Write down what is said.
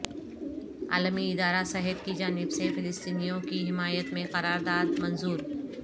عالمی ادارہ صحت کی جانب سے فلسطینیوں کی حمایت میں قرارداد منظور